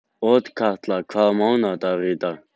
Otkatla, hvaða mánaðardagur er í dag?